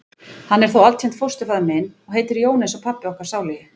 Hann er þó altént fósturfaðir minn. og heitir Jón eins og pabbi okkar sálugi.